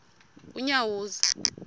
unyawuza